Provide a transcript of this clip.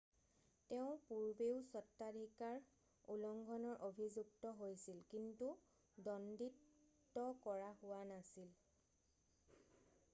তেওঁ পূৰ্বেও স্বত্বাধিকাৰ উলংঘনৰ অভিযুক্ত হৈছিল কিন্তু দ্বন্দীত কৰা হোৱা নাছিল